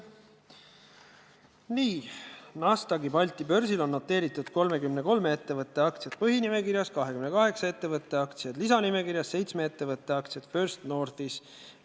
Nii, Nasdaqi Balti börsil on noteeritud 33 ettevõtte aktsiad põhinimekirjas, 28 ettevõtte aktsiad lisanimekirjas ja 7 ettevõtte aktsiad First Northis.